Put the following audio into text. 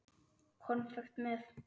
Konfekt með.